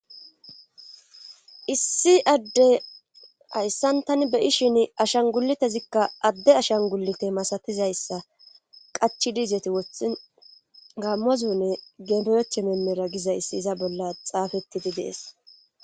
issi adde hayssan tani beyishin ashan gulitezikka adde ashan gulite masatizayssa qachi diizeti wothi gaammozune geboyeche memera gizayssi iza bolla xaafetidi dees